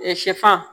sɛfa